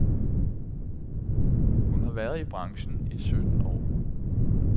Hun har været i branchen i sytten år.